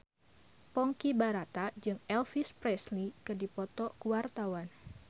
Ponky Brata jeung Elvis Presley keur dipoto ku wartawan